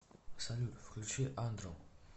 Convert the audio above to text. салют включи андро